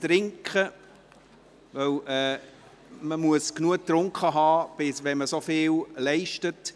Denn man sollte genug getrunken haben, wenn man so viel leistet.